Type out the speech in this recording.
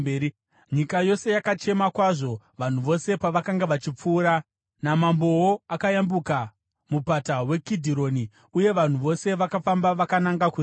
Nyika yose yakachema kwazvo vanhu vose pavakanga vachipfuura. Namambowo akayambuka mupata weKidhironi, uye vanhu vose vakafamba vakananga kurenje.